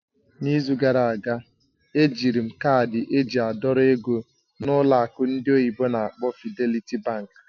N'izu gara aga, ejiri m kaadị eji a dọrọ ego na ụlọ akụ ndị oyibo n'akpọ "Fidelity Bank".